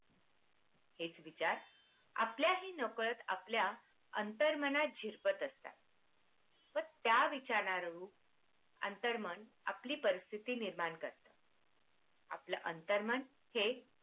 हेच विचार आपल्या ही नकळत आपल्या अंतर्मनात झिरपत असतात. त्या विचारू अंतर्मन आपली परिस्थिती निर्माण कर्ता आपल्या अंतर्मनात हे